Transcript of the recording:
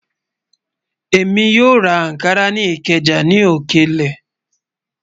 Ẹmi yó rá Ànkárà ni Ìkéja ní òkèlè